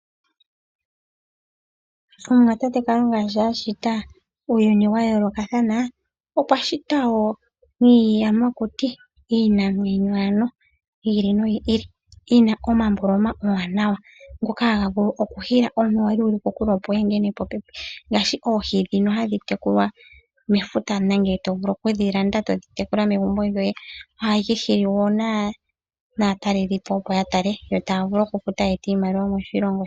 Omuwa tate Kalunga sho a shita uuyuni wa yoolokatha, okwa shita wo niiyamakuti, iinamwenyo ano yi ili noyi ili. Yi na omalwaala omawanawa, ngoka haga vulu okuhila omuntu a li e li kokule, opo a hedhe popepi. Ngaashi oohi ndhoka dhi li mefuta nenge to vulu okudhi landa e to dhi tekula megumbo lyoye ohadhi hili wo aatalelelipo, opo ya tale yo taa vulu okufuta ye ete iimaliwa moshilongo.